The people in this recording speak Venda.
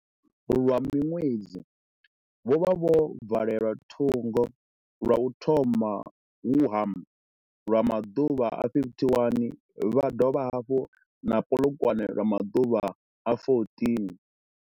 Lwa miṅwedzi, vho vha vho valelwa thungo, lwa u thoma Wuhan lwa maḓuvha a 51 vha dovha hafhu na Polokwane lwa maḓuvha a 14.